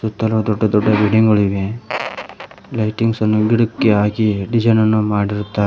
ಸುತ್ತಲು ದೊಡ್ಡ ದೊಡ್ಡ ಬಿಲ್ಡಿಂಗ್ ಗಳು ಇವೆ ಲೈಟಿಂಗ್ಸ್ ಅನ್ನು ಗಿಡಕ್ಕೆ ಹಾಕಿ ಡಿಸೈನ್ ಅನ್ನು ಮಾಡಿರುತ್ತಾರೆ.